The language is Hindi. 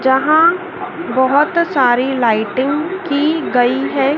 जहां बहोत सारी लाइटिंग की गई है।